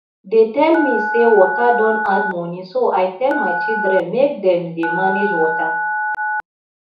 dey tell me say water don add money so i tell my children make dem dey manage water